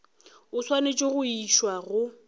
o swanetše go išwa go